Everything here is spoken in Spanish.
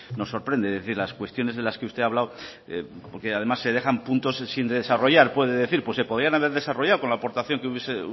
nos sorprende es decir las cuestiones de las que usted ha hablado porque además se dejan puntos sin desarrollar es decir pues se podrían haber desarrollado con la aportación que